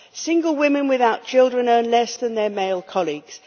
Single women without children earn less than their male colleagues.